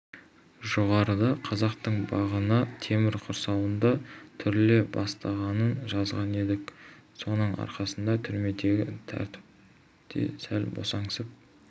жоғарыда қазақтың бағына темір құрсаудың түріле бастағанын жазған едік соның арқасында түрмедегі тәртіп те сәл босаңсып